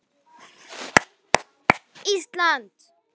klapp, klapp, klapp, Ísland!